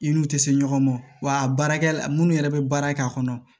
I n'u tɛ se ɲɔgɔn ma wa a baara la minnu yɛrɛ bɛ baara k'a kɔnɔ